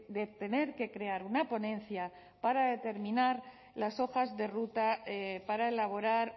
de tener que crear una ponencia para determinar las hojas de ruta para elaborar